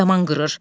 Yaman qırır.